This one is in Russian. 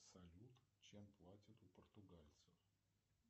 салют чем платят у португальцев